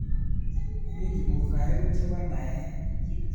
Mitei tukuk aengu chebo naet.